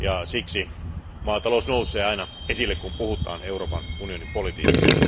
Siksi maatalous nousee aina esille, kun puhutaan Euroopan unionin politiikasta.